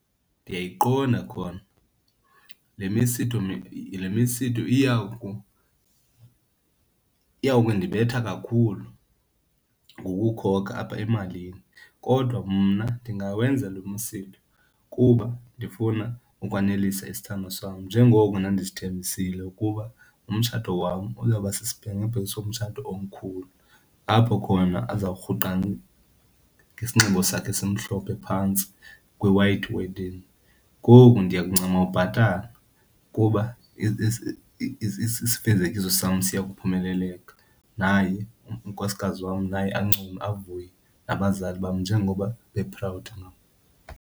Ndiyayiqonda khona, le misitho , le misitho iyawukundibetha kakhulu ngokukhokha apha emalini. Kodwa mna ndingawenza lo msitho kuba ndifuna ukwanelisa isithandwa sam njengoko ndandisithembile ukuba umtshato wam uzawuba sisibhengebhenge somtshato omkhulu apho khona azawurhuqa ngesinxibo sakhe esimhlophe phantsi kwi-white wedding. Ngoku ndiyakuncama ubhatala kuba isifezekiso sam siya kuphumeleleka naye unkosikazi wam naye ancume avuye, nabazali bam njengoba be-proud ngam.